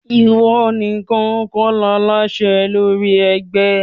Ìwọ nìkan kò láṣẹ lórí ẹgbẹ́!